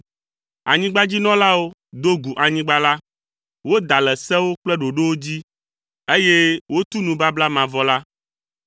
Anyigbadzinɔlawo do gu anyigba la, woda le sewo kple ɖoɖowo dzi, eye wotu nubabla mavɔ la,